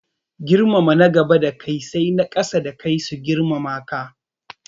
Girmama na gaba da kai sai na ƙasa da kai su girmama ka